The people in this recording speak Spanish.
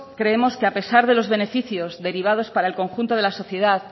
creemos que a pesar de los beneficios derivados para el conjunto de la sociedad